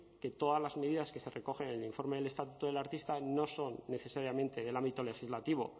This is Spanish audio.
que todas las medidas que se recogen en el informe del estatuto del artista no son necesariamente del ámbito legislativo